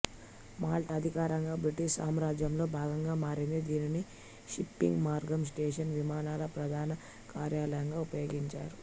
Malta అధికారికంగా British సామ్రాజ్యంలో భాగంగా మారింది దీనిని షిప్పింగ్ మార్గం స్టేషన్ విమానాల ప్రధాన కార్యాలయంగా ఉపయోగించారు